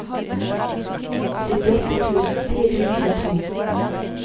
syttiåtte tusen fire hundre og to